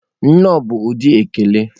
Nnọọ bụ ụdị ekele.